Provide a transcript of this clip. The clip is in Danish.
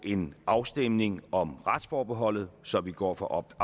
en afstemning om retsforbeholdet så vi går fra optout